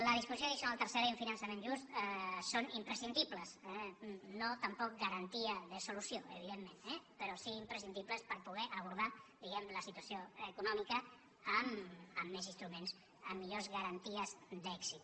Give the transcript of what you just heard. la disposició addicional tercera i un finançament just són imprescindibles no tampoc garantia de solució evidentment eh però sí imprescindibles per poder abordar diguem ne la situació econòmica amb més instruments amb millors garanties d’èxit